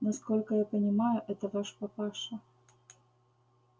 насколько я понимаю это ваш папаша